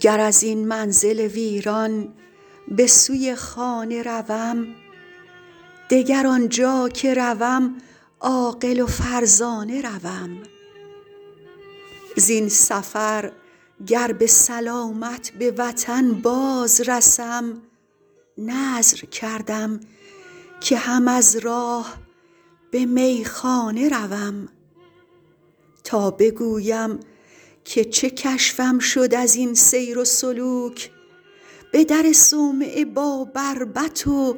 گر از این منزل ویران به سوی خانه روم دگر آنجا که روم عاقل و فرزانه روم زین سفر گر به سلامت به وطن باز رسم نذر کردم که هم از راه به میخانه روم تا بگویم که چه کشفم شد از این سیر و سلوک به در صومعه با بربط و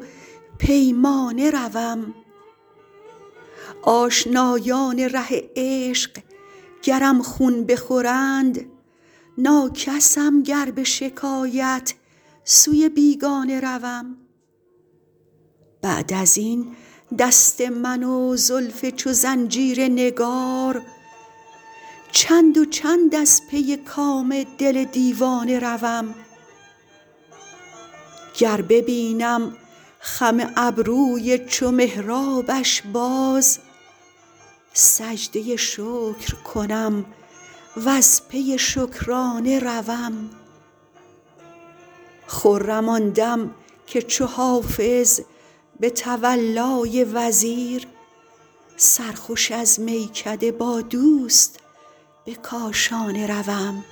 پیمانه روم آشنایان ره عشق گرم خون بخورند ناکسم گر به شکایت سوی بیگانه روم بعد از این دست من و زلف چو زنجیر نگار چند و چند از پی کام دل دیوانه روم گر ببینم خم ابروی چو محرابش باز سجده شکر کنم و از پی شکرانه روم خرم آن دم که چو حافظ به تولای وزیر سرخوش از میکده با دوست به کاشانه روم